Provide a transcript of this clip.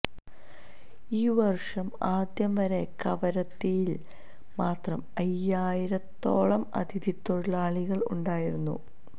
ഈ വർഷം ആദ്യം വരെ കവരത്തിയിൽ മാത്രം അയ്യായിരത്തോളം അതിഥിത്തൊഴിലാളികൾ ഉണ്ടായിരുന്നു